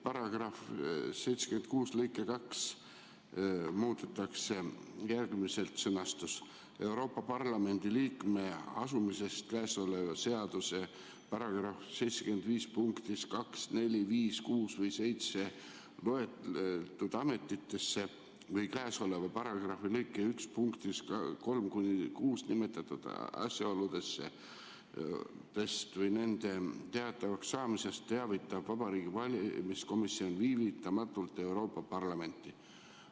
Paragrahvi 76 lõikes 2 muudetakse järgmiselt sõnastust: "Euroopa Parlamendi liikme asumisest käesoleva seaduse § 75 punktis 2, 4, 5, 6 või 7 loetletud ametisse või käesoleva paragrahvi lõike 1 punktides 3–6 nimetatud asjaoludest või nende teatavakssaamisest teavitab Vabariigi Valimiskomisjon viivitamata Euroopa Parlamenti.